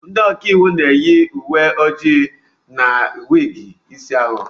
Ndị ọka iwu na-eyi uwe ojii na wig isi awọ.